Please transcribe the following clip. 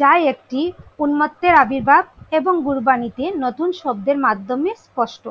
যা একটি উন্মত্তের আবির্ভাব এবং গুরবানীতে নতুন শব্দের মাধ্যমে স্পষ্ট।